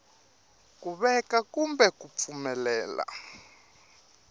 ku veka kumbe ku pfumelela